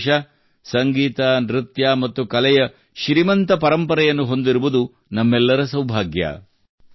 ನಮ್ಮ ದೇಶವು ಸಂಗೀತ ನೃತ್ಯ ಮತ್ತು ಕಲೆಯ ಶ್ರೀಮಂತ ಪರಂಪರೆಯನ್ನು ಹೊಂದಿರುವುದು ನಮ್ಮೆಲ್ಲರ ಸೌಭಾಗ್ಯ